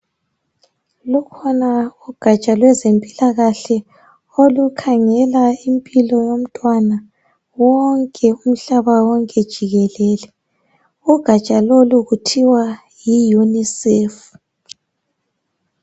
lukhona ugatsha lwezempilakahle olukhangela impilo yomntwana wonke umhlaba wonke jikelele ugatsha lolu kuthiwa yi UNICEF